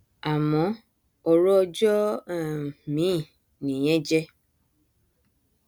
àmọ ọrọ ọjọ um mìíì nìyẹn jẹ